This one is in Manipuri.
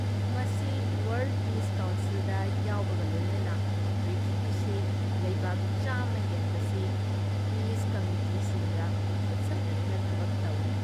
ꯃꯁꯤ ꯋꯔꯜꯗ ꯄꯤꯁ ꯀꯥꯎꯟꯁꯤꯜꯗ ꯌꯥꯎꯕꯒ ꯂꯣꯏꯅꯅ ꯄ꯭ꯔꯤꯊꯤꯕꯤꯁꯤ ꯂꯩꯕꯥꯛ ꯱꯰꯰ ꯍꯦꯟꯕꯁꯤ ꯄꯤꯁ ꯀꯃꯤꯇꯤꯁꯤꯡꯒ ꯈꯨꯠꯁꯝꯅꯗꯨꯅ ꯊꯕꯛ ꯇꯧꯏ ꯫